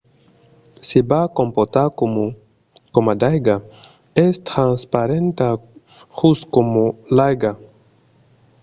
se va comportar coma d’aiga. es transparenta just coma l’aiga